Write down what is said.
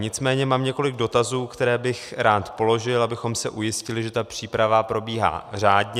Nicméně mám několik dotazů, které bych rád položil, abychom se ujistili, že ta příprava probíhá řádně.